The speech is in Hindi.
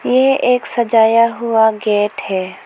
यह एक सजाया हुआ गेट है।